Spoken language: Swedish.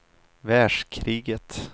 världskriget